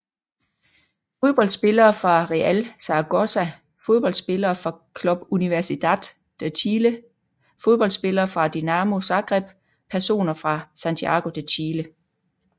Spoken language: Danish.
Fodboldspillere fra Real Zaragoza Fodboldspillere fra Club Universidad de Chile Fodboldspillere fra Dinamo Zagreb Personer fra Santiago de Chile